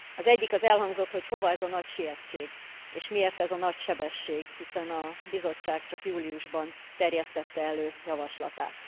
Az egyik az az, hogy hova ez a nagy sietség, és miért ez a nagy sebesség, hiszen a Bizottság csak júliusban terjesztette elő javaslatát.